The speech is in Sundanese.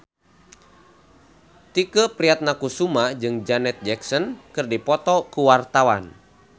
Tike Priatnakusuma jeung Janet Jackson keur dipoto ku wartawan